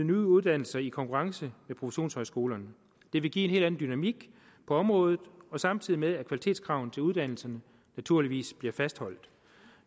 nye uddannelser i konkurrence med produktionshøjskolerne det vil give en hel anden dynamik på området samtidig med at kvalitetskravene til uddannelserne naturligvis bliver fastholdt